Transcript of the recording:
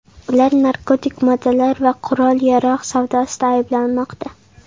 Ular narkotik moddalar va qurol-yarog‘ savdosida ayblanmoqda.